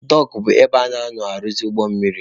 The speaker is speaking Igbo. Dọọkụ bụ ebe a na-anọ arụzị ụgbọ mmiri.